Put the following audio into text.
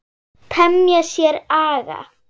Temja sér aga.